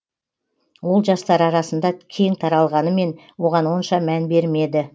ол жастар арасында кең таралғанымен оған онша мән бермеді